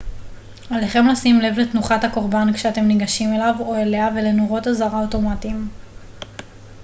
עליכם לשים לב לתנוחת הקורבן כשאתם ניגשים אליו או אליה ולנורות אזהרה אוטומטיים